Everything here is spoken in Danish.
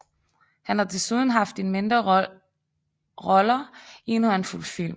Han har desuden haft en mindre roller i en håndfuld film